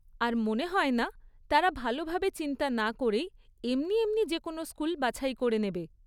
আর মনে হয় না, তারা ভালোভাবে চিন্তা না করেই এমনি এমনি যে কোনো স্কুল বাছাই করে নেবে।